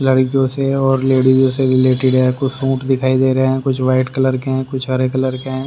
लड़कियों से है और लेडीजों से भी रिलेटेड है कुछ सूट दिखाई दे रहे हैं कुछ व्हाइट कलर के हैं कुछ हरे कलर के हैं।